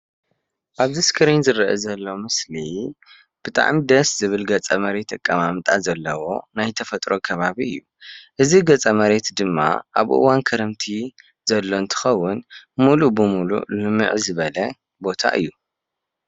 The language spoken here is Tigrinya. ኣብዚ ስክሪን ዝረአ ዘሎ ምስሊ ብጣዕሚ ደስ ዝብል ገፀ-መሬት ኣቐማምጣ ዘለዎ ናይ ተፈጥሮ ከባቢ እዩ፡፡ እዚ ገፀ-መሬት ድማ ኣብ እዋን ክረምቲ ዘሎ እንትኸውን ሙሉእ ብሙሉእ ልምዕ ዝበለ ቦታ እዩ፡፡